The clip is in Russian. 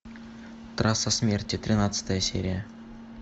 трасса смерти тринадцатая серия